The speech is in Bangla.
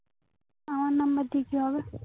আমার number দিয়ে কি হবে